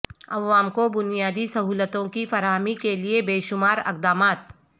عوام کو بنیادی سہولتوں کی فراہمی کیلئے بے شمار اقدامات